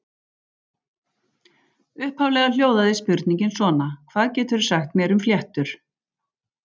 Upphaflega hljóðaði spurningin svona: Hvað geturðu sagt mér um fléttur?